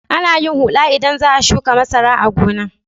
Ana yin huɗa idan za a shuƙa masara a gona.